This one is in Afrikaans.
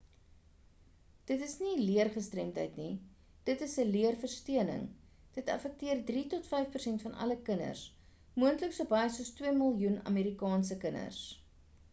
dit is nie 'n leer gestremdheid nie dit is 'n leer versteuring dit affekteer 3 tot 5 persent van alle kinders moontlik so baie soos 2 miljoen amerikaanse kinders